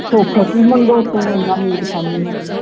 ਸੁੱਖ ਮੰਗੋ ਤੂੰ ਇਹਨਾਂ ਮੀਟ ਖਾਨੀ ਹਾਂ